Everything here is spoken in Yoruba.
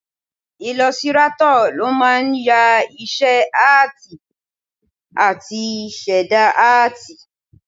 Ilọsirátọ̀ ló máa ń ya iṣẹ́ áàtì àti ṣẹ̀dá áàtì